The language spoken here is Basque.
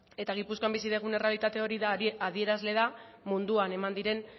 eta gipuzkoan bizi dugun errealitate hori adierazle da munduan eman diren